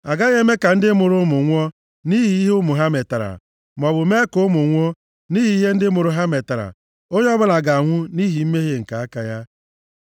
Agaghị eme ka ndị mụrụ ụmụ nwụọ nʼihi ihe ụmụ ha metara, maọbụ mee ka ụmụ nwụọ nʼihi ihe ndị mụrụ ha metara, onye ọbụla ga-anwụ nʼihi mmehie nke aka ya.